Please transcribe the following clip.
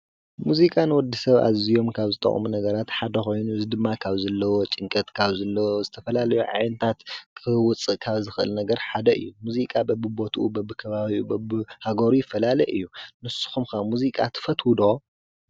ሙዚቃ ንወዲ ሰብ ኣዝዙዮም ካብ ዝጠቕሙ ነገራት ሓደ ኾይኑ ዝድማ ካብ ዘለዎ ጭንቀት ካብ ዘለ ዝተፈላለዩ ዓዕንታት ክህውፅ ካብ ዝኽል ነገር ሓደ እዩ ሙዚቃ በብቦቱኡ በብ ከባብኡ በብ ሃጐሩ ይፈላለ እዩ ንሱኹምከ ሙዚቃ ትፈትዉዶ?